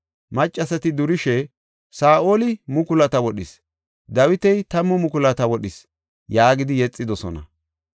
Maccasati durishe, “Saa7oli mukulata wodhis; Dawiti tammu mukulata wodhis” yaagidi yexidosona.